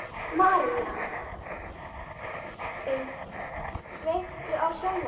Marían, kveiktu á sjónvarpinu.